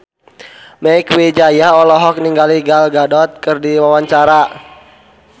Mieke Wijaya olohok ningali Gal Gadot keur diwawancara